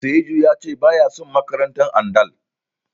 Sa'idu ya ce baya son makarantar Andal.